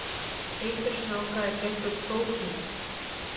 Eitur snáka er gert úr prótínum.